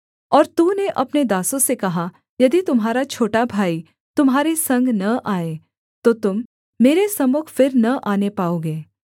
और तूने अपने दासों से कहा यदि तुम्हारा छोटा भाई तुम्हारे संग न आए तो तुम मेरे सम्मुख फिर न आने पाओगे